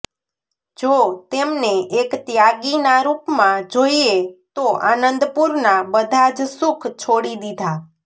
જો તેમને એક ત્યાગીના રૂપમાં જોઈએ તો આનંદપુરના બધા જ સુખ છોડી દિધા